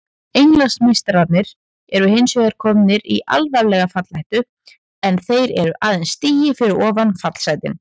Englandsmeistararnir eru hinsvegar komnir í alvarlega fallhættu en þeir eru aðeins stigi fyrir ofan fallsætin.